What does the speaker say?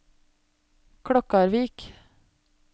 Klokkarvik